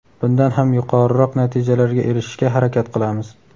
bundan ham yuqoriroq natijalarga erishishga harakat qilamiz.